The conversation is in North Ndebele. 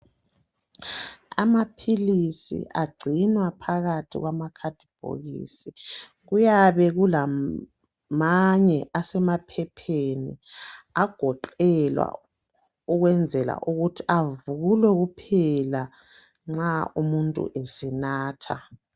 Amaphilisi agcinwa phakathi kwamakhathibhokisi, kuyabe kulam manye asemaphepheni, agoqelwa ukwenzela ukuthi avulwa kuphela nxa umuntu esenatha.